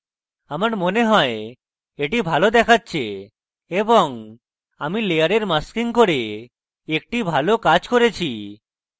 আমার মনে হয় এটি ভালো দেখাচ্ছে এবং আমি layer masking করে একটি ভালো কাজ করেছি